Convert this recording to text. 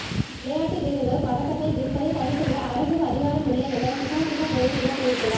விளையாட்டு வீரர்கள் பதக்கத்தை விற்பதை தடை செய்ய அரசுக்கு அதிகாரம் இல்லை என சுசாந்திக்கா ஜெயசிங்க தெரிவித்துள்ளார்